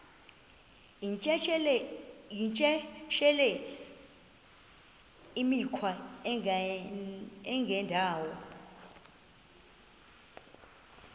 yityesheleni imikhwa engendawo